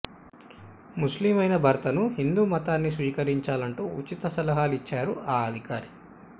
ముస్లిం అయిన భర్తను హిందూ మతాన్ని స్వీకరించాలంటూ ఉచిత సలహాలు ఇచ్చారు ఆ అధికారి